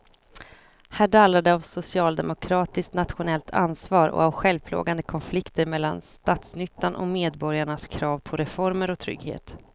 Här dallrar det av socialdemokratiskt nationellt ansvar och av självplågande konflikter mellan statsnyttan och medborgarnas krav på reformer och trygghet.